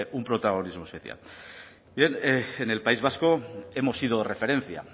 un protagonismo especial bien en el país vasco hemos sido referencia